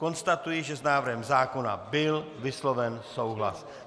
Konstatuji, že s návrhem zákona byl vysloven souhlas.